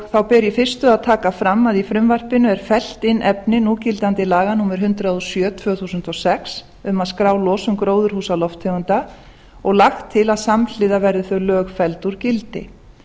þá ber í fyrstu að taka fram að í frumvarpinu er fellt inn efni núgildandi laga númer hundrað og sjö tvö þúsund og sex um að skrá losun gróðurhúsalofttegunda og lagt til að samhliða verði þau lög felld úr gildi